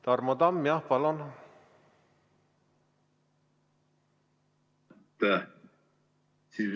Tarmo Tamm, palun!